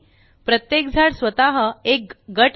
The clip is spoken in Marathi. प्रत्येक झाड स्वतः एक गट आहे